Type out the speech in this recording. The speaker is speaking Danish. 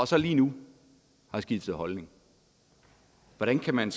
så lige nu skiftet holdning hvordan kan man